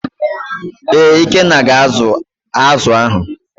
ee, ikenna ga azu azu ahụ.